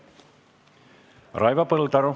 Raivo Põldaru.